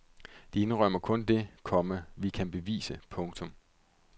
De indrømmer kun det, komma vi kan bevise. punktum